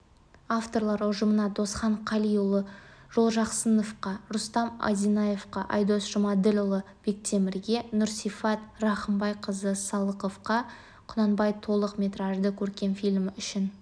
авторлар ұжымына досхан қалиұлы жолжақсыновқа рустам одинаевқа айдос жұмаділдіұлы бектемірге нұрсифат рахымбайқызы салықоваға құнанбай толық метражды көркем фильмі үшін